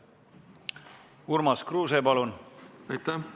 Urmas Kruuse, palun!